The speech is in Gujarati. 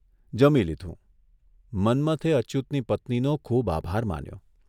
જમી લીધું મન્મથે અચ્યુતની પત્નીનો ખુબ આભાર માન્યો.